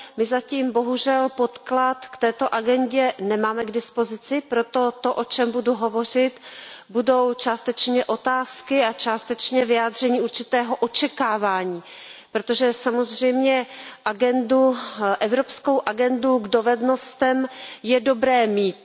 My zatím, bohužel, podklad k této agendě nemáme k dispozici, proto to, o čem budu hovořit, budou částečně otázky a částečně vyjádření určitého očekávání, protože samozřejmě evropskou agendu dovedností je dobré mít.